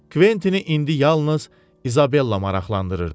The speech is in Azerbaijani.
Kventini indi yalnız İzabella maraqlandırırdı.